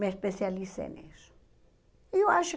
Me especializei nisso. E eu acho